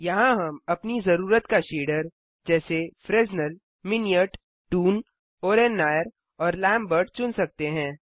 यहाँ हम अपनी ज़रूरत का शेडर जैसे Fresnel Minnaert toon oren Nayar और लैम्बर्ट चुन सकते हैं